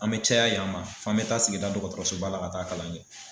An mɛ caya yan ma f'an mɛ taa sigida dɔgɔtɔrɔsoba la ka taa kalan kɛ.